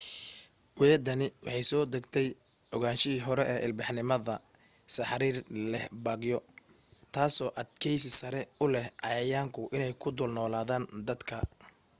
weedhani waxay soo dheegtay ogaanshihii hore ee ilbaxnimada sariir leh baagyo taasi oo adkaysi sare u leh cayayaanku inay ku dul noolaadaan dadka